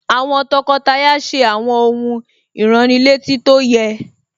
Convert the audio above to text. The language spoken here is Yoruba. Àwọn tọkọtaya ṣe àwọn ohun ìránnilétí tó yẹ